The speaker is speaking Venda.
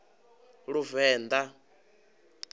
luvenḓa